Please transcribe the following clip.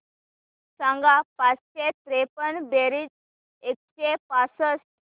सांग पाचशे त्रेपन्न बेरीज एकशे पासष्ट